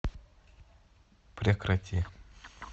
прекрати